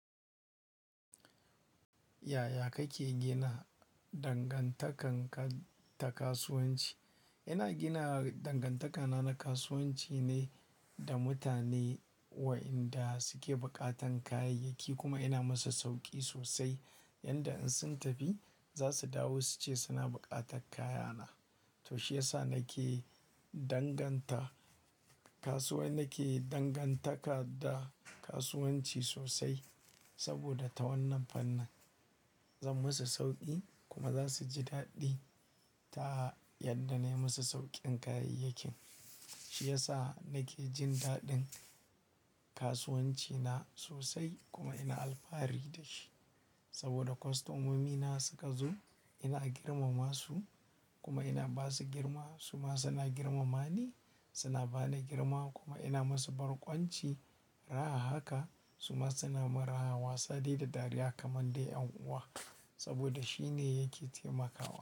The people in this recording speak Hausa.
Yaya kake gina dangantaka ta kasuwanci? Ina gina dangantakana na kasuwanci ne da mutane wa inda suke buƙatan kayayyaki kuma ina musu sauƙi sosai. Yanda in sun tafi za su dawo suce suna buƙatar kaya na. To shi yasa nake danganta kasuwa nake dangantaka da kasuwanci sosai. Saboda ta wannan fannin zan musu sauƙi kuma za su ji daɗi ta yadda na yi musu sauƙin kayayyakin. Shi yasa nake jin daɗin kasuwanci na sosai kuma ina alfahari da shi. Saboda kostomomi na suka zo ina girmama su kuma ina ba su girma suma suna girmama ni, suna ba ni girma kuma ina musu barkwanci. Raha haka suma suna min raha wasa dai da dariya kamar dai 'yan uwa saboda shi ne yake taimakawa.